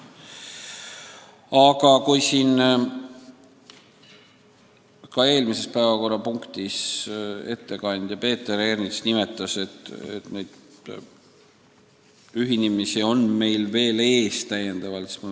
Aga eelmise päevakorrapunkti arutelul märkis ettekandja Peeter Ernits, et neid ühinemisi on meil veel ees.